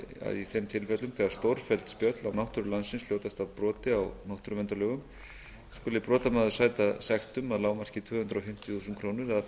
að í þeim tilfellum þegar stórfelld spjöll á náttúru landsins hljótast af broti á náttúruverndarlögum skuli brotamaður sæta sektum að lágmarki tvö hundruð fimmtíu þúsund krónur eða